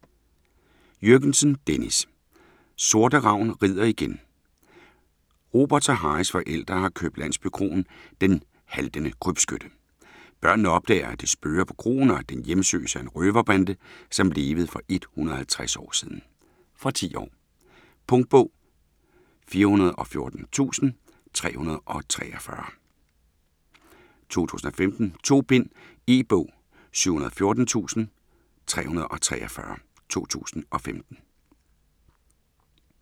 Jürgensen, Dennis: Sorte Ragn rider igen Roberts og Harrys forældre har købt landsbykroen "Den Haltende Krybskytte". Børnene opdager, at det spøger på kroen, og at den hjemsøges af en røverbande, som levede for over 150 år siden ... Fra 10 år. Punktbog 414343 2015. 2 bind. E-bog 714343 2015.